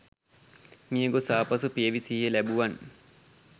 මියගොස් ආපසු පියවි සිහිය ලැබූවන්